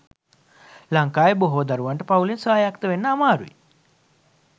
ලංකාවේ බොහෝ දරුවන්ට පවුලෙන් ස්වායක්ත වන්න අමාරුයි.